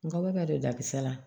Nga u bɛ ka don dakisɛ la